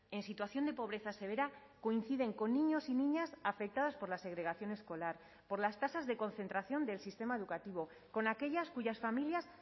en situación de pobreza severa coinciden con niños y niñas afectadas por la segregación escolar por las tasas de concentración del sistema educativo con aquellas cuyas familias